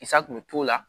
Sa kun bɛ t'o la